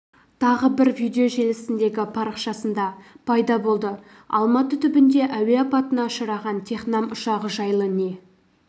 тағы бір видео желісіндегі парақшасында пайда болды алматы түбінде әуе апатына ұшыраған технам ұшағы жайлы не